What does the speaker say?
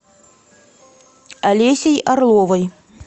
олесей орловой